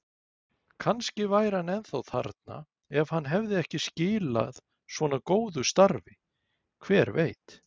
Kannski væri hann ennþá þarna ef hann hefði ekki skilað svona góðu starfi, hver veit?